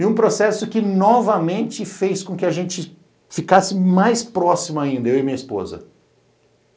E um processo que novamente fez com que a gente ficasse mais próximo ainda, eu e minha esposa.